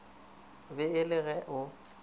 be e le ge o